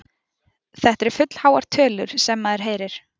Þetta eru fullháar tölur sem maður heyrir.